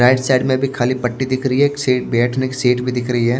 Right side में भी खाली पट्टी दिख रही है एक सीट बैठने की सीट भी दिख रही है।